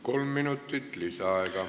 Kolm minutit lisaaega.